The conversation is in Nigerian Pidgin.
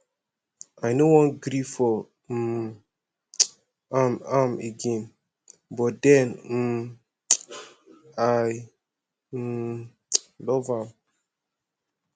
i no wan gree for um am am again but den um i um love am